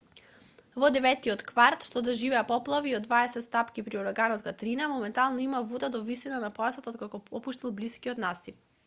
во деветтиот кварт што доживеа поплави и од 20 стапки при ураганот катрина моментално има вода до висина на појасот откако попушти блискиот насип